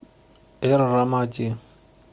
эр рамади